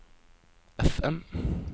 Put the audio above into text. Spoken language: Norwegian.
FM